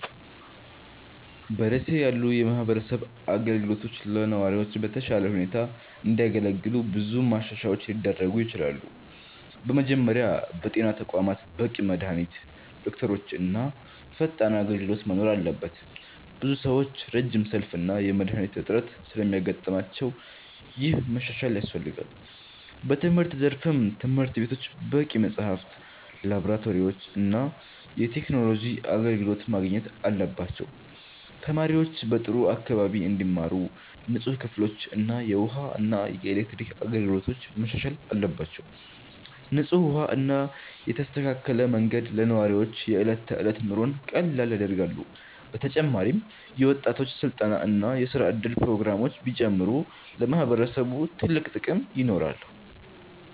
በ ደሴ ያሉ የማህበረሰብ አገልግሎቶች ለነዋሪዎች በተሻለ ሁኔታ እንዲያገለግሉ ብዙ ማሻሻያዎች ሊደረጉ ይችላሉ። በመጀመሪያ በጤና ተቋማት በቂ መድሃኒት፣ ዶክተሮች እና ፈጣን አገልግሎት መኖር አለበት። ብዙ ሰዎች ረጅም ሰልፍ እና የመድሃኒት እጥረት ስለሚያጋጥማቸው ይህ መሻሻል ያስፈልጋል። በትምህርት ዘርፍም ትምህርት ቤቶች በቂ መጽሐፍት፣ ላብራቶሪዎች እና የቴክኖሎጂ አገልግሎት ማግኘት አለባቸው። ተማሪዎች በጥሩ አካባቢ እንዲማሩ ንጹህ ክፍሎችና የተሻለ የመማሪያ ቁሳቁስ ያስፈልጋል። እንዲሁም የመንገድ፣ የውሃ እና የኤሌክትሪክ አገልግሎቶች መሻሻል አለባቸው። ንጹህ ውሃ እና የተስተካከለ መንገድ ለነዋሪዎች የዕለት ተዕለት ኑሮን ቀላል ያደርጋሉ። በተጨማሪም የወጣቶች ስልጠና እና የስራ እድል ፕሮግራሞች ቢጨምሩ ለማህበረሰቡ ትልቅ ጥቅም ይኖራል።